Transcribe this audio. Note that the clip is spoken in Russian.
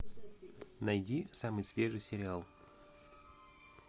найди самый свежий сериал